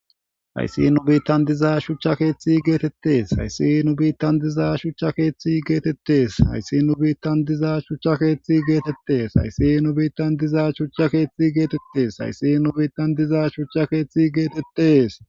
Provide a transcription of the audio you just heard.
Hayssi nu biitan diiza shuchcha keththe gettetes hayssi nu biitan diiza shuchcha keththe gettetes hayssi nu biitan diiza shuchcha keththe gettetes hayssi nu biitan diiza shuchcha keththe gettetes hayssi nu biitan diiza shuchcha keththe gettetes.